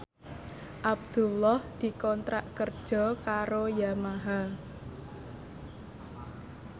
Abdullah dikontrak kerja karo Yamaha